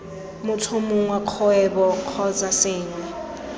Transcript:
motho mongwe kgwebo kgotsa sengwe